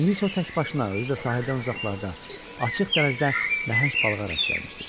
İndi isə o təkbaşına, özü də sahildən uzaqlarda, açıq dənizdə nəhəng balığa rast gəlmişdi.